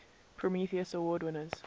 prometheus award winners